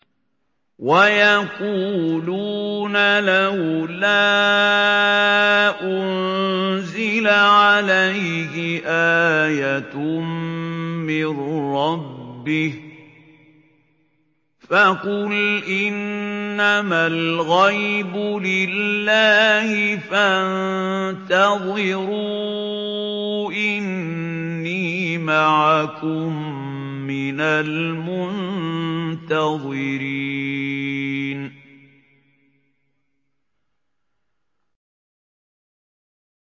وَيَقُولُونَ لَوْلَا أُنزِلَ عَلَيْهِ آيَةٌ مِّن رَّبِّهِ ۖ فَقُلْ إِنَّمَا الْغَيْبُ لِلَّهِ فَانتَظِرُوا إِنِّي مَعَكُم مِّنَ الْمُنتَظِرِينَ